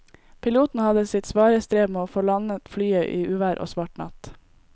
Piloten hadde sitt svare strev med å få landet flyet i uvær og svart natt.